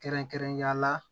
Kɛrɛnkɛrɛnnenya la